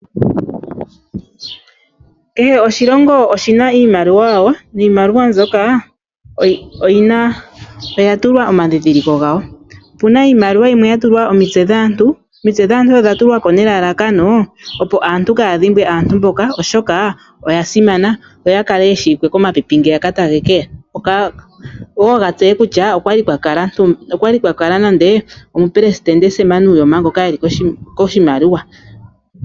Kehe oshilongo oshi na iimaliwa yawo, niimaliwa mbyoka oya tulwa omandhindhiliko gayo. Opu na iimaliwa yimwe ya tulwa omitse dhaantu. Omitse dhaantu odha tulwa ko nelalakano, opo aantu kaayadhombwe aantu mbyoka oshoka oya simana opo ya kale ye shiwike komapipi ngeyaka tage keya opo wo ga tseye kutya okwali kwa kala ntumba, okwa li kwa kala nande omupelesitende Sam Nuyoma ngoka eli koshimaliwa.